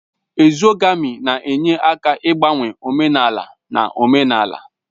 Ezogamị na-enye aka n'ịgbanwe omenala na omenala